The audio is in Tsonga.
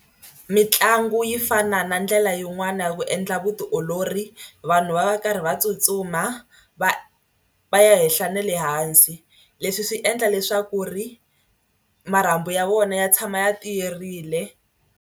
Mitlangu yi fana na ndlela yin'wana ya ku endla vutiolori vanhu va va karhi va tsutsuma va va ya henhla na le hansi leswi swi endla leswaku ri marhambu ya vona ya tshama ya tiyerile.